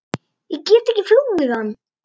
Ég get ekki flúið hann.